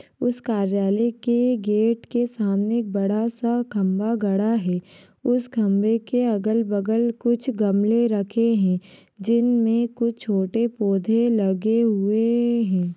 उस कार्यालय के गेट के सामने एक बड़ा सा खम्भा गाढ़ा है उस खम्भे के अगल बगल कुछ गमले रखे हैं जिन मे कुछ छोटे पौधे लगे हुये हैं।